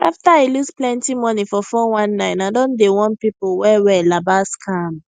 after i lose plenty money for 419 i don dey warn people well well about scam